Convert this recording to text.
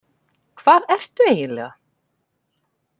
Hvað ertu eiginlega?